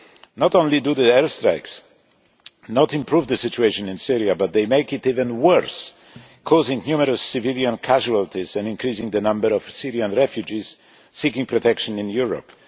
Not only do the airstrikes not improve the situation in Syria but they make it even worse, causing numerous civilian casualties and increasing the number of Syrian refugees seeking protection in Europe.